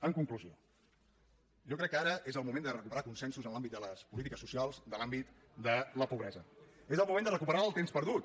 en conclusió jo crec que ara és el moment de recuperar consensos en l’àmbit de les polítiques socials de l’àmbit de la pobresa és el moment de recuperar el temps perdut